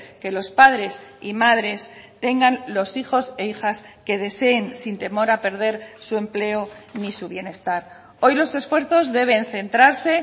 que los padres y madres tengan los hijos e hijas que deseen sin temor a perder su empleo ni su bienestar hoy los esfuerzos deben centrarse